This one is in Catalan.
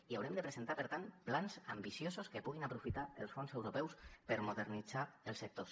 i haurem de presentar per tant plans ambiciosos que puguin aprofitar els fons europeus per modernitzar els sectors